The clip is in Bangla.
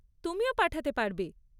তুমিও পাঠাতে পারবে।